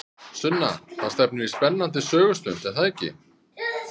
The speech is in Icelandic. Sunna, það stefnir í spennandi sögustund, er það ekki?